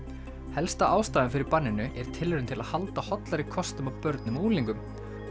helsta ástæðan fyrir banninu er tilraun til að halda hollari kostum að börnum og unglingum